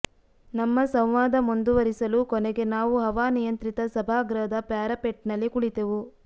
ನಮ್ಮ ಸಂವಾದ ಮುಂದುವರಿಸಲು ಕೊನೆಗೆ ನಾವು ಹವಾನಿಯಂತ್ರಿತ ಸಭಾಗೃಹದ ಪಾರಾಪೆಟ್ನಲ್ಲಿ ಕುಳಿತೆವು